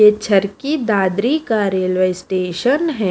ये छरकी दादरी का railway station है।